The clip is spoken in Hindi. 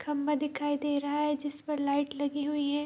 खम्बा दिखाई दे रहा है जिसपे लाइट लगी हुई है।